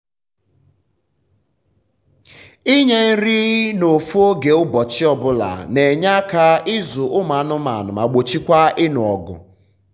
ịnye nri na ofu oge ụbọchị ọbula n’enye aka ịzụ ụmụ anụmanụ ma gbochikwa ịnụ ọgụ um